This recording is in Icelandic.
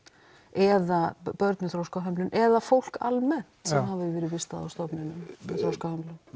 eða börn með þroskahömlun eða fólk almennt sem hafi verið vistað á stofnun með þroskahömlun